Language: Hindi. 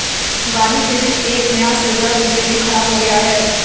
दीवाली के दिन एक नया सिरदर्द उनके लिए खड़ा हो गया है